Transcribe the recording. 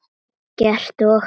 Eggert og